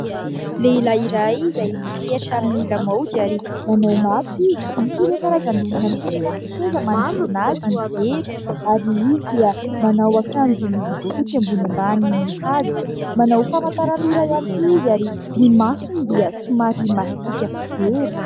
Lehilahy iray izay misehatra amin'ny lamaody ary manao matso izy. Misy ireo karazan'olona mipetraka amin'ny seza manodidina azy mijery ary izy dia manao akanjo miloko fotsy ambony ambany mihaja. Manao famantaranora ihany koa izy ary ny masony dia somary masiaka fijery.